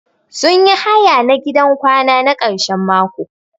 Sun yi haya na gidan kwana na karshen mako.